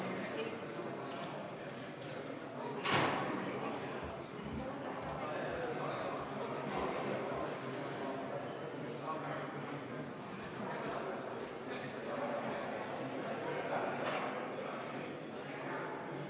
Hääletustulemused Eelnõu vastuvõtmise poolt on 73 Riigikogu liiget, vastuolijaid ja erapooletuid ei olnud.